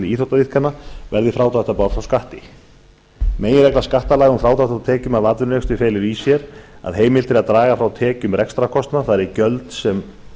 íþróttaiðkunar verði frádráttarbær frá skatti meginregla skattalaga um frádrátt frá tekjum af atvinnurekstri felur í sér að heimilt er að draga frá tekjum rekstrarkostnað það eru gjöld sem